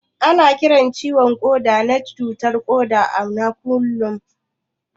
Ana Kiran ciwo na Koda na cutar koda na kullum.